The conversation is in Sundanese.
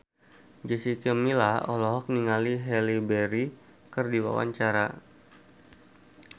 Jessica Milla olohok ningali Halle Berry keur diwawancara